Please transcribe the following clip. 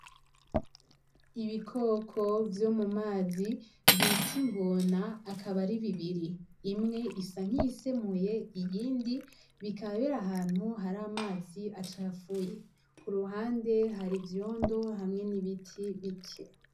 Ibikoko vyo mu mazi bita ingona akaba ari bibiri ,imwe isa n' iyisemuye iyindi ikabera ahantu hari amazi acafuye ku ruhande hari ivyondo hamwe n'ibiti bike.